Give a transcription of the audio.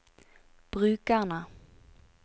brukerne